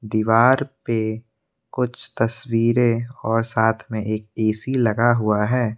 दीवार पे कुछ तस्वीरें और साथ में एक ऐ_सी लगा हुआ है।